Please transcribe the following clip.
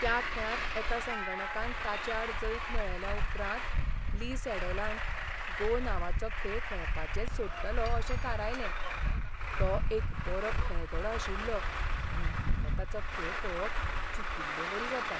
त्या खेळांत एका संगणकान ताचे आड जैत मेळयल्या उपरांत ली सॅडॉलान "गो" नांवाचो खेळ खेळपाचेंच सोडटलों अशें थारायलें. तो एक बरो खेळगडो आशिल्लो आनी म्हाका ताचो खेळ पळोवप चुकिल्लेवरी जाता.